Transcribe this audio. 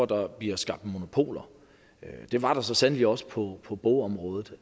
der bliver skabt monopoler men det var der så sandelig også på på bogområdet